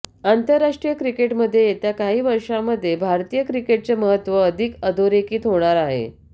आंतरराष्ट्रीय क्रिकेटमध्ये येत्या काही वर्षांमध्ये भारतीय क्रिकेटचे महत्त्व अधिक अधोरेखित होणार आहे